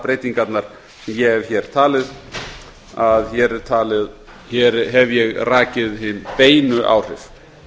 skattbreytingarnar sem ég hef hér talið hér hef ég rakið hin beinu áhrif